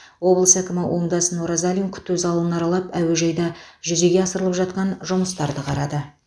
облыс әкімі оңдасын оразалин күту залын аралап әуежайда жүзеге асырылып жатқан жұмыстарды қарады